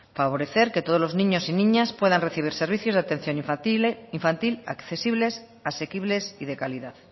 favorecer que todos los niños y niñas puedan recibir servicios de atención infantil accesibles asequibles y de calidad